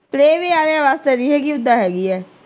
Playway ਵਾਲਿਆਂ ਵਾਸਤੇ ਨਹੀਂ ਹੈਗੀ ਓਦਾਂ ਹੈਗੀ ਏ।